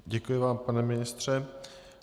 Děkuji vám, pane ministře.